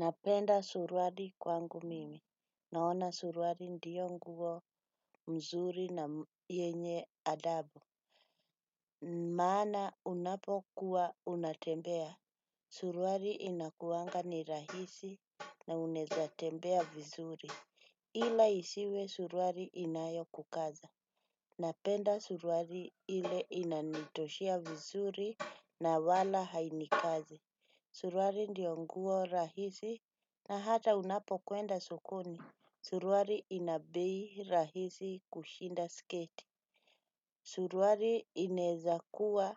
Napenda suruali kwangu mimi. Naona surwali ndiyo nguo mzuri na yenye adabu. Maana unapo kuwa unatembea. Surwari inakuanga ni rahisi na unaeza tembea vizuri. Ila isiwe surwari inayo kukaza. Napenda surwari ile inanitoshea vizuri na wala hainikazi. Suruari ndiyo nguo rahisi na hata unapo kwenda sokoni, suruari ina bei rahisi kushinda sketi. Suruari inaezakuwa